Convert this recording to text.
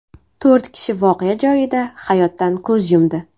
To‘rt kishi voqea joyida hayotdan ko‘z yumdi.